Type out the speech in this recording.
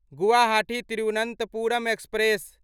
Guwahati Thiruvananthapuram express